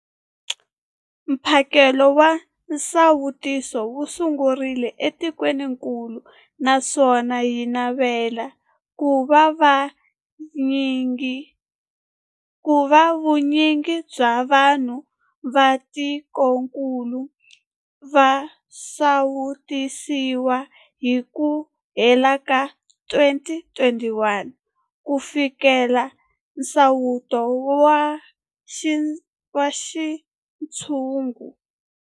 Hi tirhile tanihi lava va sirhelelaka rihanyu, vanhu na vutihanyisi eka tikokulu.